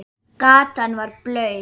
Gatan var blaut.